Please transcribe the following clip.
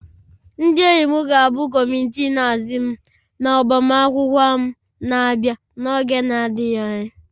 Ndị enyi m ga-abụ kọmitii nhazi m na agbamakwụkwọ m na-abịa n'oge na-adịghị anya